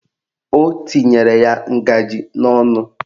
O tinyere ya ngajị n'ọnụ